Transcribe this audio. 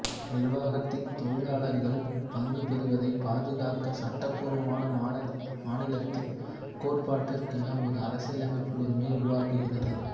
நிர்வாகத்தின் தொழிலாளர்கள் பங்கு பெறுவதை பாதுகாக்க சட்டபூர்வமான மாநிலத்தின் கோட்பாட்டிற்கான ஒரு அரசியலமைப்பு உரிமையை உருவாக்குகிறது